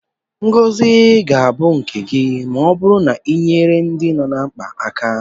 Ngozi ga-abụ nke gị ma ọ bụrụ na ị na-enyere ndị nọ na mkpa aka.